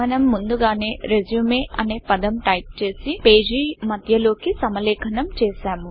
మనం ముందుగానే రిజ్యూమ్ అనే పదం టైపు చేసి పేజి మధ్యలోకి సమలేఖనం చేసాము